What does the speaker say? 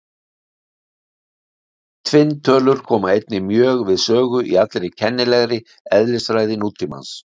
Tvinntölur koma einnig mjög við sögu í allri kennilegri eðlisfræði nútímans.